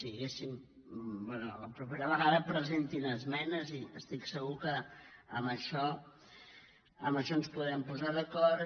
bé la propera vegada presentin esmenes i estic segur que en això ens podem posar d’acord